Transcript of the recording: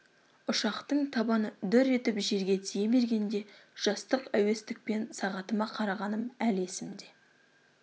ұшақтың табаны дүр етіп жерге тие бергенде жастық әуестікпен сағатыма қарағаным әлі есімде